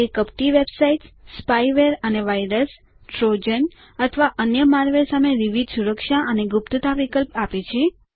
તે કપટી websites spyware અને વાયરસ ટ્રોજન અથવા અન્ય મૉલવેર સામે વિવિધ સુરક્ષા અને ગુપ્તતા વિકલ્પો આપે છે